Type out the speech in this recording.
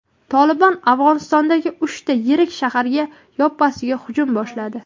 "Tolibon" Afg‘onistondagi uchta yirik shaharga yoppasiga hujum boshladi.